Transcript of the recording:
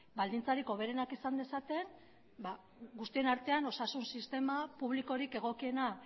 baldintzarik hoberenak izan dezaten guztien artean osasun sistema publikorik egokiena